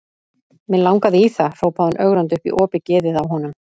Mig langaði í það, hrópaði hún ögrandi upp í opið geðið á honum.